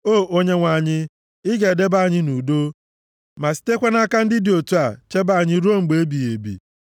O Onyenwe anyị, i ga-edebe anyị nʼudo ma sitekwa nʼaka ndị dị otu a chebe anyị ruo mgbe ebighị ebi.